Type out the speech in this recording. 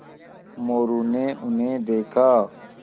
मोरू ने उन्हें देखा